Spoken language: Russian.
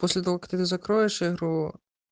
после того как закроешь игру